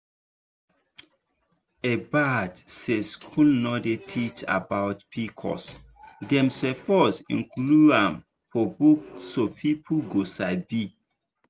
e bad say school no dey teach about pcos dem suppose include am for book so people go sabi.